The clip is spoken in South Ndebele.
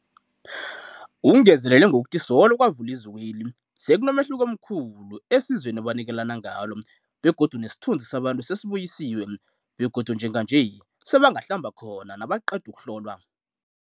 Ungezelele ngokuthi solo kwavulwa izikweli, sekunomehluko omkhulu esizweni ebanikelana ngalo begodu nesithunzi sabantu sesibuyisiwe begodu njenganje sebangahlamba khona nabaqeda ukuhlolwa.